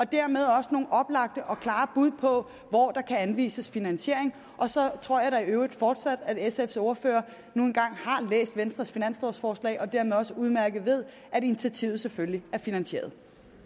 dermed også nogle oplagte og klare bud på hvor der kan anvises finansiering og så tror jeg da i øvrigt fortsat at sfs ordfører har læst venstres finanslovforslag og dermed også udmærket ved at initiativet selvfølgelig er finansieret